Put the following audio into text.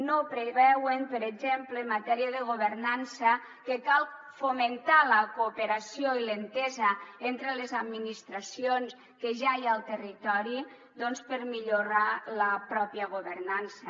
no preveuen per exemple en matèria de governança que cal fomentar la cooperació i l’entesa entre les administracions que ja hi ha al territori doncs per millorar la pròpia governança